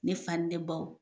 Ne fa ni ne baw